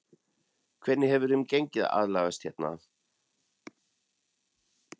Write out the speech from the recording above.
Hvernig hefur þeim gengið að aðlagast hérna?